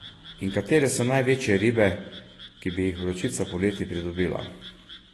In katere so največje ribe, ki bi jih Vročica poleti pridobila?